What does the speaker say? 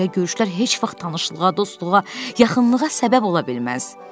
Belə görüşlər heç vaxt tanışlığa, dostluğa, yaxınlığa səbəb ola bilməz.